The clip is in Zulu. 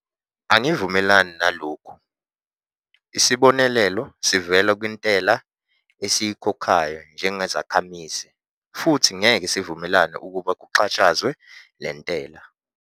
Angivumelani nalokhu - isibonelelo sivela kwintela esiyikhokhayo njengezakhamizi futhi ngeke sivumele ukuba kuxhashazwe le ntela.